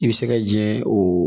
I bɛ se ka jɛ o